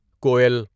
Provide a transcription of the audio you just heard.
کوٮٔل